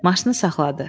Maşını saxladı.